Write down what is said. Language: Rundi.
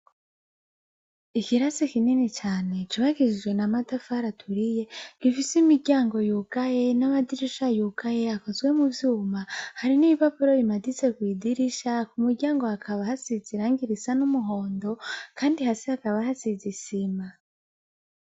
Ikirasi kinini cane cubakishijwe namatafari aturiye gifise imiryango yugaye namadirisha yugaye akozwe muvyuma hari nibibaburo bimaditse kwidirisha kumuryango hakaba hasize irangi risa numuhondo kandi hasi hakaba hasize isima